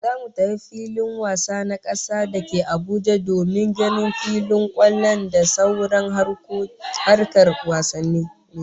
Zamu tafi filin wasa na kasa dake Abuja domin ganin filin kwallon da sauran harkar wasanni